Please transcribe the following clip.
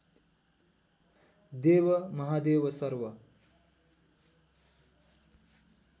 देव महादेव सर्व